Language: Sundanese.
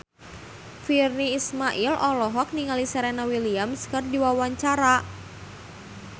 Virnie Ismail olohok ningali Serena Williams keur diwawancara